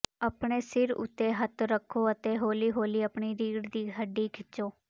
ਆਪਣੇ ਸਿਰ ਉੱਤੇ ਹੱਥ ਰੱਖੋ ਅਤੇ ਹੌਲੀ ਹੌਲੀ ਆਪਣੀ ਰੀੜ੍ਹ ਦੀ ਹੱਡੀ ਖਿੱਚੋ